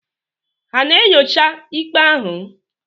Ha na-enyocha ikpe ahụ?